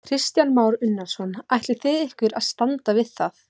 Kristján Már Unnarsson: Ætlið þið ykkur að standa við það?